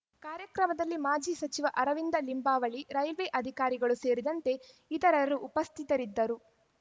ಕಾರ್ಯಕ್ರಮದಲ್ಲಿ ಮಾಜಿ ಸಚಿವ ಅರವಿಂದ ಲಿಂಬಾವಳಿ ರೈಲ್ವೆ ಅಧಿಕಾರಿಗಳು ಸೇರಿದಂತೆ ಇತರರು ಉಪಸ್ಥಿತರಿದ್ದರು